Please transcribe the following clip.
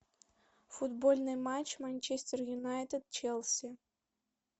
футбольный матч манчестер юнайтед челси